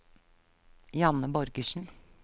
Janne Borgersen